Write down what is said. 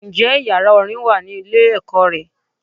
Ǹ jé yàrá Orin wà ní ilé èkó re